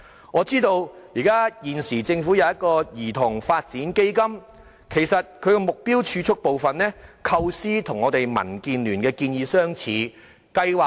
我知道現時政府設有"兒童發展基金"，其中目標儲蓄部分的構思與我們民主建港協進聯盟的建議相似。